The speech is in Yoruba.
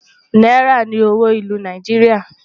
náírà ní owó ìlú Nàìjíríà